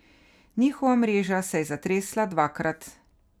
Njihova mreža se je zatresla dvakrat.